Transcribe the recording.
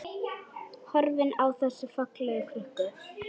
Horfir á þessa fallegu krukku.